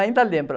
Ainda lembro.